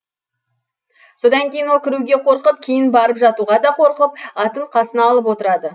содан кейін ол кіруге қорқып кейін барып жатуға да қорқып атын қасына алып отырады